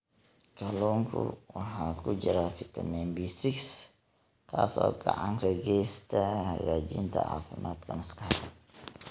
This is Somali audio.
Kalluunka waxaa ku jira fitamiin B6 kaas oo gacan ka geysta hagaajinta caafimaadka maskaxda.